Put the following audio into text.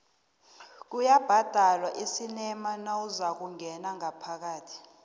kuyabhadalwa esinema nawuzakungena ngaphakathi